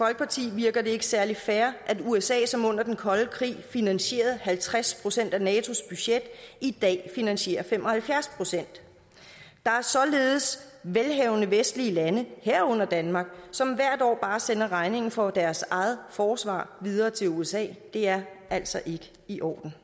virker det ikke særlig fair at usa som under den kolde krig finansierede halvtreds procent af natos budget i dag finansierer fem og halvfjerds procent der er således velhavende vestlige lande herunder danmark som hvert år bare sender regningen for deres eget forsvar videre til usa det er altså ikke i orden